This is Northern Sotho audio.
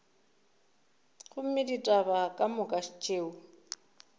gomme ditaba ka moka tšeo